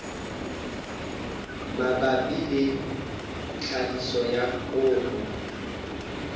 mabapi le tlhahiso ya koro